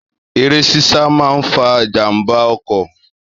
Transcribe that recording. Èré sísà maà ń fà jà ḿbà ọ̀kò